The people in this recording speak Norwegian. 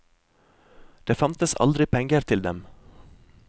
Det fantes aldri penger til dem.